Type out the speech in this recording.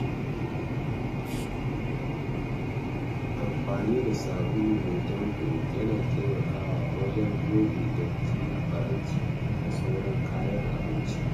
Amfani da sabulu mai ɗanƙo yana taimakawa wajen goge datti a faranti da sauran kayan abinci.